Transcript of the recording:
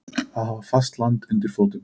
Að hafa fast land undir fótum